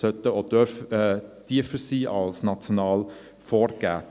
Diese sollten auch tiefer sein dürfen als national vorgegeben.